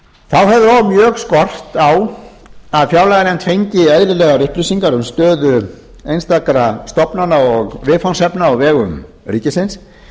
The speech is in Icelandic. þá hefur mjög skort á að fjárlaganefnd fengi eðlilegar upplýsingar um stöðu einstakra stofnana og viðfangsefna á vegum ríkisins og